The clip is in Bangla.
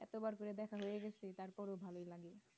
এতো বার করে দেখা হয়ে গেছে তারপরেও ভালো লাগে